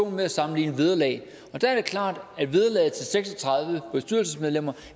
med at sammenligne vederlag og der er det klart at vederlaget til seks og tredive bestyrelsesmedlemmer